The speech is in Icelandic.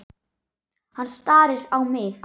Hann starir á mig.